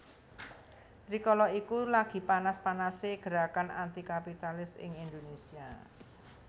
Rikala iku lagi panas panasé gerakan anti kapitalis ing Indonesia